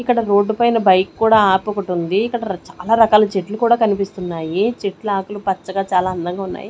ఇక్కడ రోడ్డు పైన బైక్ కూడా ఆపొకటుంది ఇక్కడ ర చాలా రకాల చెట్లు కూడా కనిపిస్తున్నాయి చెట్లాకులు పచ్చగా చాలా అందంగా ఉన్నాయి.